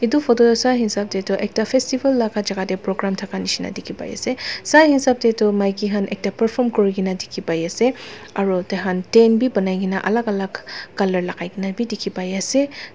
etu photo te sai hisab te toh ekta festival laga jaga te programme thaka nishena dikhi pai ase sai hisab te toh maiki khan ete perform kurikena dikhi pai ase aru taikhan tent bi banai kena alak alak colour lagai kena bi dikhi pai ase.